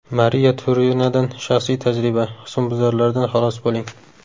Mariya Tyurinadan shaxsiy tajriba: Husunbuzarlardan xalos bo‘ling.